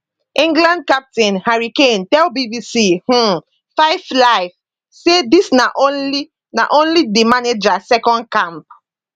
england captain harry kane tell bbc um 5 live say dis na only na only di manager second camp